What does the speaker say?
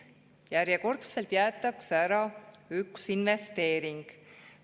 Järjekordselt jäetakse ära üks investeering.